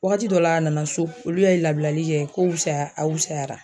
Waagati dɔ la a nana so, olu y'a labilali kɛ ko fusaya a wusayara.